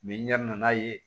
n yɛrɛ nana ye